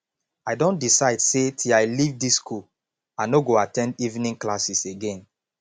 i don decide say till i leave dis school i no go at ten d evening classes again